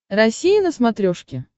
россия на смотрешке